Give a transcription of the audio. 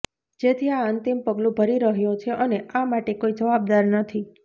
જેથી આ અંતિમ પગલુ ભરી રહ્યો છે અને આ માટે કોઇ જવાબદાર નથી